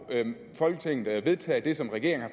folketinget vedtage det som regeringen